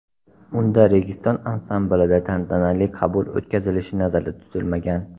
Unda Registon ansamblida tantanali qabul o‘tkazilishi nazarda tutilmagan.